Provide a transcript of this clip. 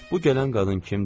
Bu gələn qadın kimdir?